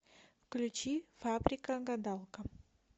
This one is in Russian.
включи фабрика гадалка